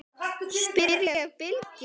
spyr ég Bylgju.